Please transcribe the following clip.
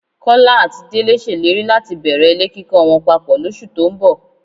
Kọ́lá àti Délé ṣèlérí láti bẹ̀rẹ̀ ilé kíkọ wọn papọ̀ lóṣù tó ń bọ̀